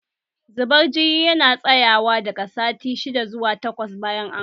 Zubar jini yana tsayawa daga sati shidda zuwa takwas bayan an haihu